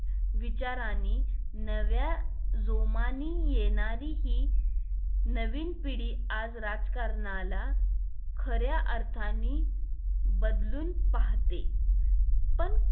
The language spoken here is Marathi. विचारांनी नव्या जोमानी येणारी हि नवी पिढी आह राजकारणाला खऱ्या अर्थाने बदलू पाहते पण